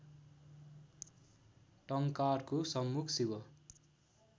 टंकारको सम्मुख शिव